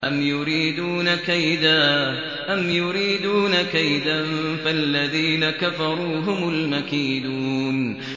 أَمْ يُرِيدُونَ كَيْدًا ۖ فَالَّذِينَ كَفَرُوا هُمُ الْمَكِيدُونَ